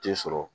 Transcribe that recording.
Den sɔrɔ